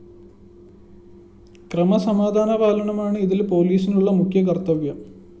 ക്രമസമാധാന പാലനമാണ് ഇതില്‍ പോലീസിനുള്ള മുഖ്യ കര്‍ത്തവ്യം